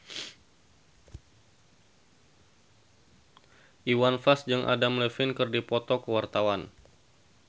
Iwan Fals jeung Adam Levine keur dipoto ku wartawan